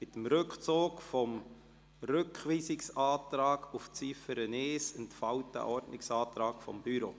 Mit dem Rückzug des Antrags auf Rückweisung von Ziffer 1 entfällt der Ordnungsantrag des Büros.